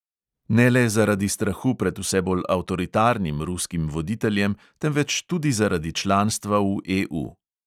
Ne le zaradi strahu pred vse bolj avtoritarnim ruskim voditeljem, temveč tudi zaradi članstva v EU.